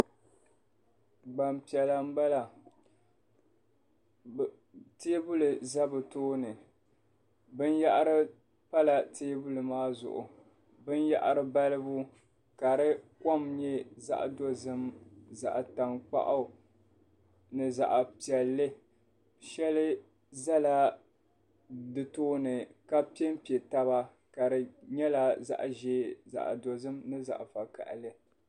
Gbampiɛla m-bala teebuli za bɛ tooni binyɛhiri pala teebuli maa zuɣu binyɛhiri balibu ka di kom nyɛ zaɣ'dozim zaɣ'tankpaɣu ni zaɣ'piɛlli shɛli zala di tooni ka pempe taba ka di nyɛla zaɣ'ʒee zaɣ'dozim ni zaɣ'vakahili.